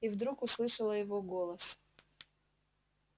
и вдруг услышала его голос